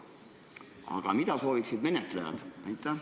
Aga mida sooviksid menetlejad?